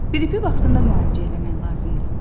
Qripi vaxtında müalicə eləmək lazımdır.